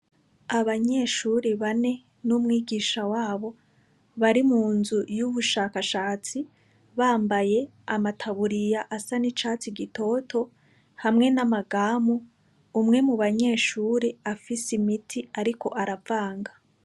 Abanyeshuri bane n' umwigisha wabo bari munzu y'ubushakashatsi bambaye amataburiya asa n' icatsi gitoto hamwe n' amagamu umwe mubanyeshuri afise imiti ariko aravanga.